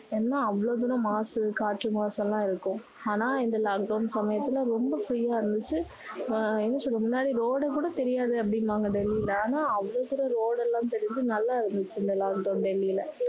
ஏன்னா அவ்வளவு தூரம் மாசு காற்று மாசு எல்லாம் இருக்கும் ஆனா இந்த lockdown சமயத்துல ரொம்ப குறைவா இருந்துச்சு ஆஹ் என்ன சொல்றது முன்னாடி road கூட தெரியாது அப்படின்னுவாங்க வெளில அவளோ தூரம் road எல்லாம் தெரிஞ்சு நல்லா இருந்துச்சு இந்த lockdown வெளில